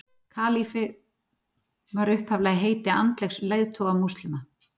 kalífi var upphaflega heiti andlegs leiðtoga múslima